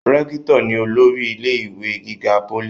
rẹ́kítọ̀ ni olórí ilé ìwé gíga pólì